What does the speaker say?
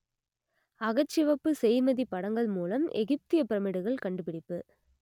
அகச்சிவப்பு செய்மதிப் படங்கள் மூலம் எகிப்தியப் பிரமிடுகள் கண்டுபிடிப்பு